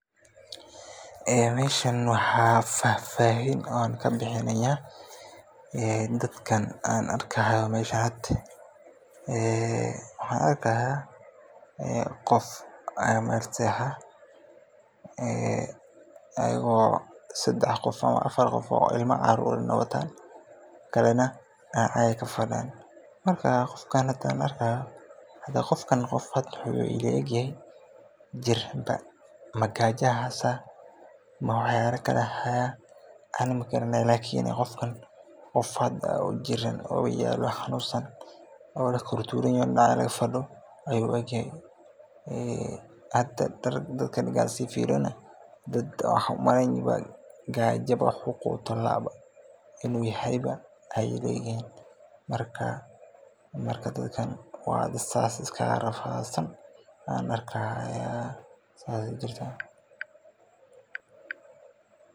Meeshan waxaan fahfahin aan kabixinaaya dadkan aan arki haayo meeshan, qof, ayago sedex qof ilma caruur wataan, qofka aan arkaayo wuxuu ila eg yahay qof Kiran, ma gaaja ayaa haysa, dadkan markaan sii fiiriyo dad gaaja wax aay qutaan laayihin ayaan umaleya, marka saas ayaa ii muqataa.